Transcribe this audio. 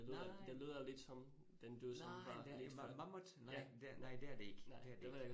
Nej. Nej det er mammut, nej det, nej det er det ikke